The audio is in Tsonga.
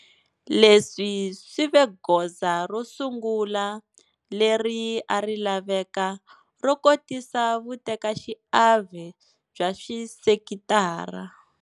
Leswi swi ve goza ro sungula leri a ri laveka ro kotisa vutekaxiave bya swi sekitara.